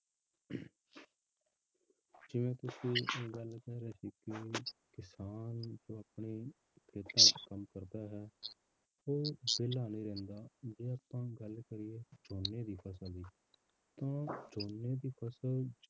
ਜਿਵੇਂ ਤੁਸੀਂ ਇਹ ਗੱਲ ਕਹਿ ਰਹੇ ਸੀ ਕਿ ਕਿਸਾਨ ਜੋ ਆਪਣੇ ਖੇਤਾਂ ਵਿੱਚ ਕੰਮ ਕਰਦਾ ਹੈ ਉਹ ਵਿਹਲਾ ਨਹੀਂ ਰਹਿੰਦਾ ਜੇ ਆਪਾਂ ਗੱਲ ਕਰੀਏ ਝੋਨੇ ਦੀ ਫਸਲ ਦੀ ਤਾਂ ਝੋਨੇ ਦੀ ਫਸਲ